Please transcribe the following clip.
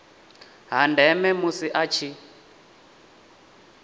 ha ndeme musi a tshi